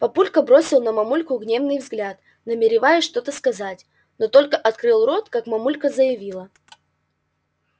папулька бросил на мамульку гневный взгляд намереваясь что-то сказать но только открыл рот как мамулька заявила